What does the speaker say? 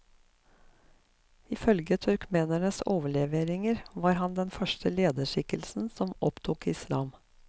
I følge turkmenenes overleveringer var han den første lederskikkelse som opptok islam.